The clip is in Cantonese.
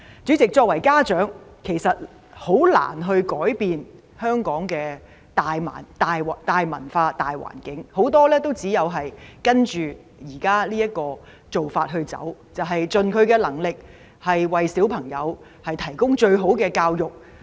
主席，作為家長，其實很難改變香港的大文化、大環境，很多人只有跟着現有做法走，就是盡能力為子女提供最好的教育。